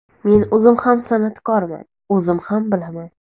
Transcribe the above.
Men o‘zim ham san’atkorman, o‘zim ham bilaman.